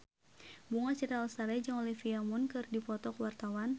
Bunga Citra Lestari jeung Olivia Munn keur dipoto ku wartawan